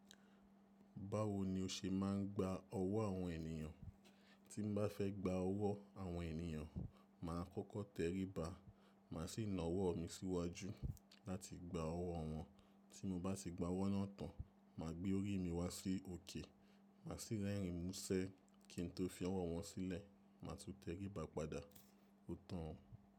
Báwo ni o ṣe máa ń gba ọwọ́ àwọn ènìyàn? Tí mo bá fẹ́ gba ọwọ́ àwọn ènìyàn, màá kọ́kọ́ tẹríba, màá sì na ọwọ́ mi síwájú láti gba ọwọ́ wọn. Tí mo bá ti gba ọwọ́ náà tán, màá gbé orí mi wá sí òkè, màá sì rẹrìn músẹ́ kí n tó fi ọwọ́ wọn sílẹ̀, màá tún teríba padà. Ó tán o.